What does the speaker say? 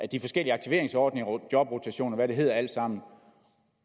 de forskellige aktiveringsordninger og jobrotation og hvad det hedder alt sammen